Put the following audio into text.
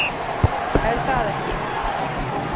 Er það ekki?